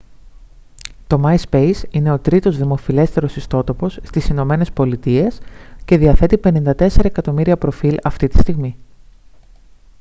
το myspace είναι ο τρίτος δημοφιλέστερος ιστότοπος στις ηνωμένες πολιτείες και διαθέτει 54 εκατομμύρια προφίλ αυτή τη στιγμή